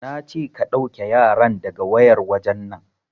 Nace ka ɗauke yaran daga wayar wajen nan!